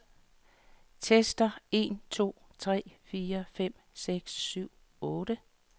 Tester en to tre fire fem seks syv otte.